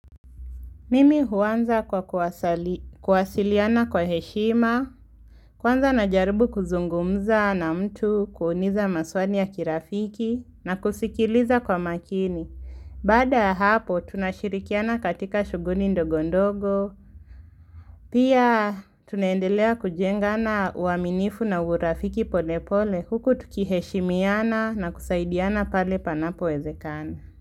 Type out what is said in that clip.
Mimi huanza kwa kuwasiliana kwa heshima, kwanza na jaribu kuzungumza na mtu kuuniza maswani ya kirafiki na kusikiliza kwa makini. Baada hapo tunashirikiana katika shughuni ndogondogo, pia tunaendelea kujengana uaminifu na urafiki polepole huku tuki heshimiana na kusaidiana pale panapo wezekana.